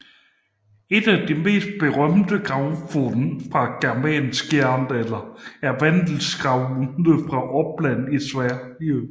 Et af de mest berømte gravfund fra germansk jernalder er Vendelgravene fra Uppland i Sverige